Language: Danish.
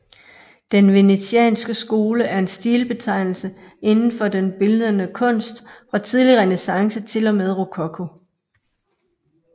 Den venetianske skole er en stilbetegnelse inden for den bildende kunst fra tidlig renæssance til og med rokoko